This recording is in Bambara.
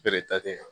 Bere ta tɛ yan